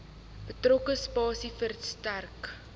betrokke spasie verstrek